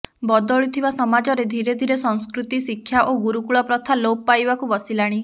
ବଦଳୁଥିବା ସମାଜରେ ଧିରେଧିରେ ସଂସ୍କୃତି ଶିକ୍ଷା ଓ ଗୁରୁକୂଳ ପ୍ରଥା ଲୋପ ପାଇବାକୁ ବସିଲାଣି